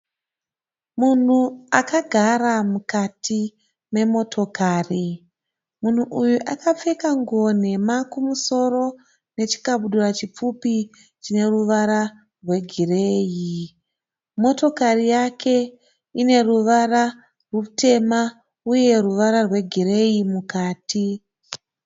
Munhu akagara mukati memotokari. Munhu uyu akapfeka nguwo nhema kumusoro nechikabudura chipfupi chineruvara rwegireyi. Motokari yake ineruvara rutema uye ruvara rwegireyi mukati.